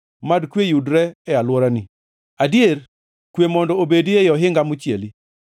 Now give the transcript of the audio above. Mad kwe yudre ei alworani, adier kwe mondo obedi ei ohinga mochieli.”